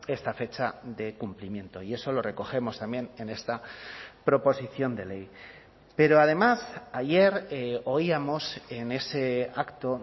esta fecha de cumplimiento y eso lo recogemos también en esta proposición de ley pero además ayer oíamos en ese acto